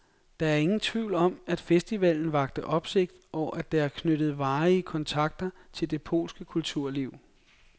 Der er ingen tvivl om, at festivalen vakte opsigt, og at der er knyttet varige kontakter til det polske kulturliv.